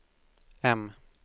M